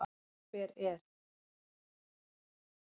Hver er.